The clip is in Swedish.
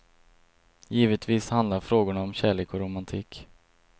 Givetvis handlar frågorna om kärlek och romantik.